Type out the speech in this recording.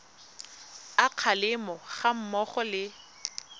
a kgalemo ga mmogo le